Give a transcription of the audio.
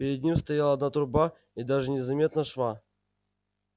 перед ним стояла одна труба и даже не заметно шва